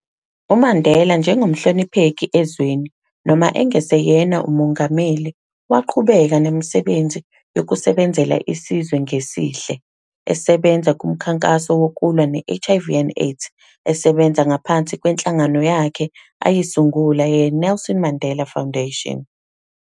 UMandela njengomhlonipheki ezweni, noma engeseyena uMongameli, waqhubeka nemisebenzi yokusebenzela isizwe ngesihle, esebenza kumkhankaso wokulwa ne-HIV and AIDS esebenza ngaphansi kwehlangano yakhe ayisungula ye-Nelson Mandela Foundation.